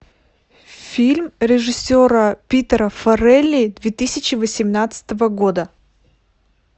фильм режиссера питера фаррелли две тысячи восемнадцатого года